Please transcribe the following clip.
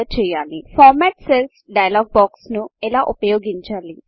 format cells format cells డైలాగ్బాక్స్ను ఎలా ఉపయోగించాలి